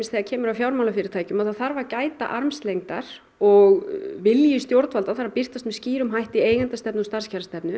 þegar kemur að fjármálafyrirtækjum að það þarf að gæta armslengdar og vilji stjórnvalda þarf að birtast með skýrum hætti í eigendastefnu og starfskjarastefnu